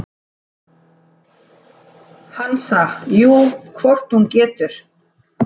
Hansa: Jú, hvort hún getur.